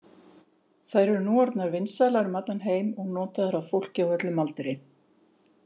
Þær eru nú orðnar vinsælar um allan heim og notaðar af fólki á öllum aldri.